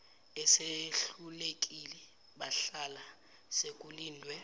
esehlulekile bahlala sekulindwe